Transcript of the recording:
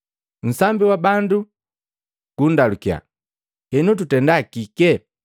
Nsambi wa bandu gundalukiya, “Henu tutenda kike?”